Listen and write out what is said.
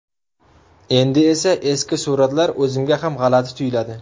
Endi esa eski suratlar o‘zimga ham g‘alati tuyiladi.